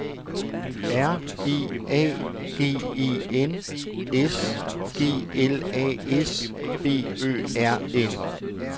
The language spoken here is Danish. R E A G E N S G L A S B Ø R N